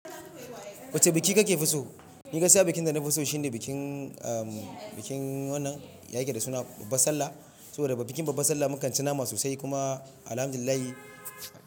Wacce biki kake so? Ni gaskiya bikin da na fi so shine bikin, ahhh bikin wannan ya yake da suna Babbar Sallah. Saboda daga bikin Babbar Sallah mu kan ci nama sosai kuma Alhamdulillah.